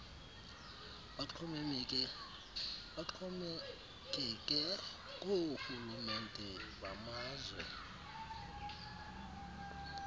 baxhomekeke koorhulumente bamazwe